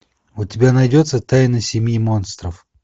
у тебя найдется тайна семьи монстров